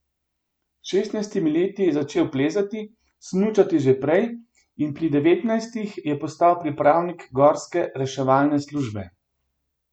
S šestnajstimi leti je začel plezati, smučati že prej, in pri devetnajstih je postal pripravnik gorske reševalne službe.